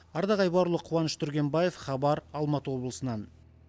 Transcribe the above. ардақ айбарұлы қуаныш түргенбаев хабар алматы облысынан